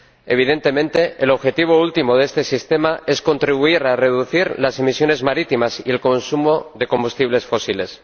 Evidentemente, el objetivo último de este sistema es contribuir a reducir las emisiones marítimas y el consumo de combustibles fósiles.